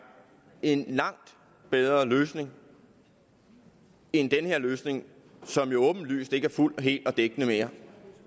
en langt bedre løsning end den her løsning som jo åbenlyst ikke er fuld hel og dækkende mere